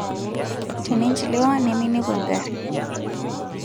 teninchiliwa neminepu engarri